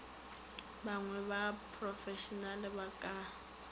banngwe ba profešenale ba ka